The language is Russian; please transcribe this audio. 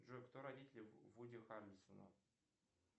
джой кто родители вуди харрельсона